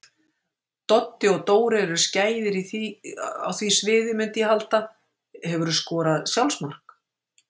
Doddi og Dóri eru skæðir á því sviði myndi ég halda Hefurðu skorað sjálfsmark?